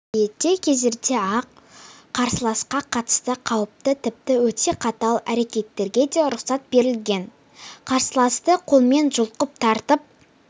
ерте кездерде ақ қарсыласқа қатысты қауіпті тіпті өте қатал әрекеттерге де рұқсат берілген қарсыласты қолмен жұлқып тартып